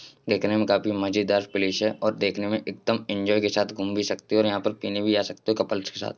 देखने में काफी मजेदार प्लेस है और देखने में एकदम एन्जॉय के साथ घूमने भी सकते हो और यहाँ पर पीने भी आ सकते हो कपल्स के साथ |